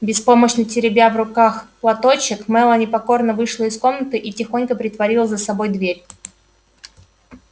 беспомощно теребя в руках платочек мелани покорно вышла из комнаты и тихонько притворила за собой дверь